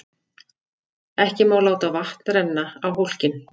Ekki má láta vatn renna á hólkinn.